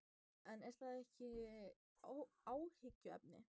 En er það ekki áhyggjuefni?